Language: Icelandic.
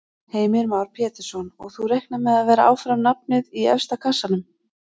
Heimir Már Pétursson: Og þú reiknar með að vera áfram nafnið í efsta kassanum?